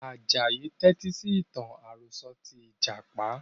Ajayi ń tẹti sì ìtàn àròsọ̀ tí Ìjàpá